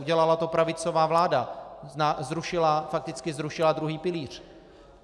Udělala to pravicová vláda, fakticky zrušila druhý pilíř.